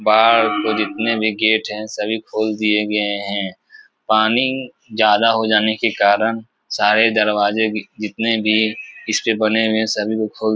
बाहर को जितने भी गेट हैं सभी खोल दिए गये हैं। पानी ज्यादा हो जाने के कारन सारे दरवाजे भी जितने भी इसके बने हुए हैं। सभी को खोल --